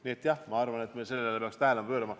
Nii et jah, ma arvan, et me peaks sellele tähelepanu pöörama.